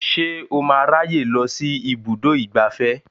Ṣé o máa ráyè lọ sí ibùdó ìgbafẹ́